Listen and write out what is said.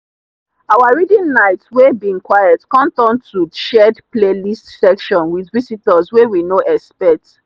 our reading night wey bin quiet come turn to shared playlist session with visitors wey we no expect.